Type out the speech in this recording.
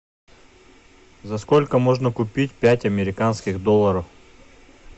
за сколько можно купить пять американских долларов